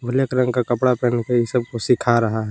Black रंग का कपड़ा पहन के ये सब को सीखा रहा है।